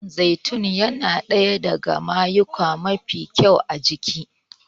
Man zaitun yana ɗaya daga mayuyuka mafi kyau a jiki